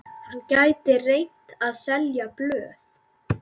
Hann gæti reynt að selja blöð.